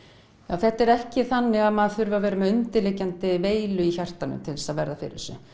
þetta er ekki þannig að maður þurfi að vera með undirliggjandi veilu í hjartanu til þess að verða fyrir þessu